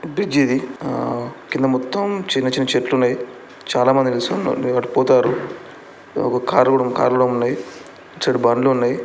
Bridge ఇది కింద మొత్తం చిన్న చిన్న చెట్లు ఉన్నాయిచాలా మంది నిలుచున్నోళ్లు ఇక్కడ పోతార్రు ఒక కార్ కూడా కార్ కూడా ఉంది ఇటు సైడ్ బండ్లు ఉన్నాయి.